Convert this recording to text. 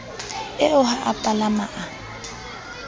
eo ha a palama a